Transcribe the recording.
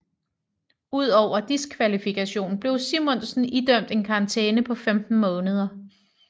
Ud over diskvalifikationen blev Simonsen idømt en karantæne på 15 måneder